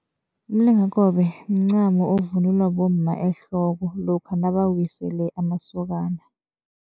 Umlingakobe mncamo okuvunulwa bomma ehloko lokha nabawisele amasokana.